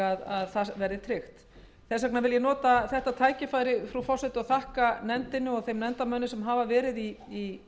að það verði tryggt þess vegna vil ég nota þetta tækifæri frú forseti og þakka nefndinni og þeim nefndarmönnum sem hafa verið í